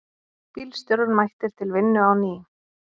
Bílstjórar mættir til vinnu á ný